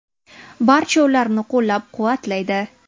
Barcha ularni qo‘llab-quvvatlaydi.